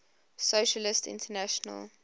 socialist international